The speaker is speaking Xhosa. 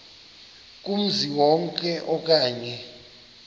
kumzi wonke okanye